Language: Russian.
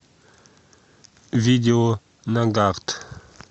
видео нагарт